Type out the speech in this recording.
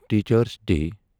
teachers day